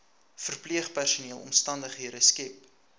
verpleegpersoneel omstandighede skep